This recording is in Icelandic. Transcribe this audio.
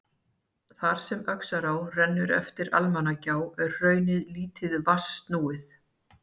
Þar sem Öxará rennur eftir Almannagjá er hraunið lítið vatnsnúið.